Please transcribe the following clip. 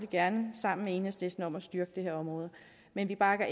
gerne sammen med enhedslisten om at styrke det her område men vi bakker